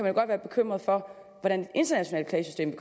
jo godt være bekymret for hvordan det internationale klagesystem